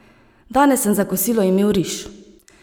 Danes sem za kosilo imel riž!